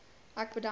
ek bedank u